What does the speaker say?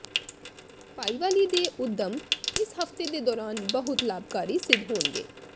ਭਾਈਵਾਲੀ ਦੇ ਉੱਦਮ ਇਸ ਹਫਤੇ ਦੇ ਦੌਰਾਨ ਬਹੁਤ ਲਾਭਕਾਰੀ ਸਿੱਧ ਹੋਣਗੇ